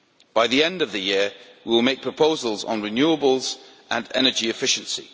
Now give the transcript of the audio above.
By the end of the year, we will make proposals on renewables and energy efficiency.